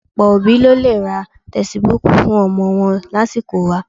Ọ̀pọ̀ òbí ló lè ra tẹsibúùkù fún ọmọ wọn lásìkò wa